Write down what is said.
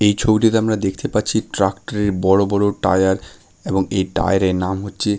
এই ছবিটিতে আমরা দেখতে পাচ্ছি ট্রাক্টরের বড় বড় টায়ার এবং এই টায়ার এর নাম হচ্ছে --